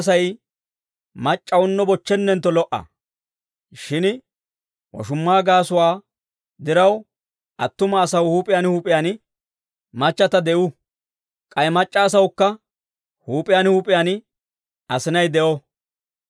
Shin woshumma gaasuwaa diraw, attuma asaw huup'iyaan huup'iyaan machchata de'uu. K'ay mac'c'a asawukka huup'iyaan huup'iyaan asinay de'o.